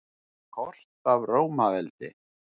Kort af Rómaveldi.